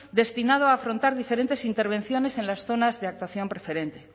destinado a afrontar diferentes intervenciones en las zonas de actuación preferente